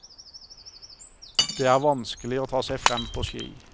Det er vanskelig å ta seg frem på ski.